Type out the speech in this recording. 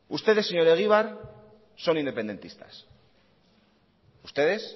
ustedes señor egibar son independentistas ustedes